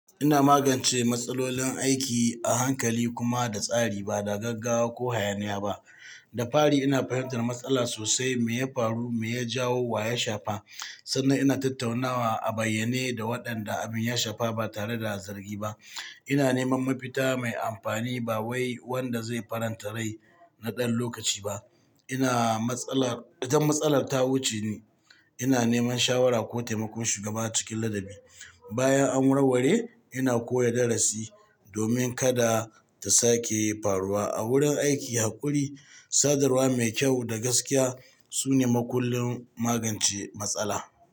Ina magance matsalolin aiki a hankali kuma da tsari, ba da gaggawa ko hayaniya ba. Da fari ina fahimtar matsala sosai, me ya faru, me ya jawo wa ya shafa. Sannan ina tattaunawa a bayyane da waɗanda abin ya shafa ba tare da zargi ba. Ina neman mafita mai amfani ba wai wanda zai faranta rai na ɗan lokaci ba. Idan matsalar ta wuce ni, ina neman shawara ko taimakon shugaba cikin ladabi. Bayan an warware, ina koya darasi domin kada ta sake faruwa. A wurin aiki, haƙuri, sadarwa mai kyau da gaskiya sune makullin magance matsala.